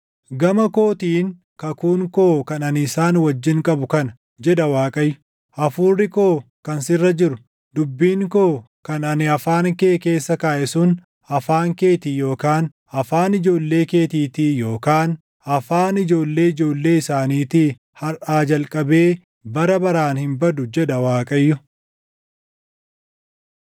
“Gama kootiin kakuun koo kan ani isaan wajjin qabu kana” jedha Waaqayyo. “Hafuurri koo kan sirra jiru, dubbiin koo kan ani afaan kee keessa kaaʼe sun afaan keetii yookaan afaan ijoollee keetiitii yookaan afaan ijoollee ijoollee isaaniitii harʼaa jalqabee bara baraan hin badu” jedha Waaqayyo.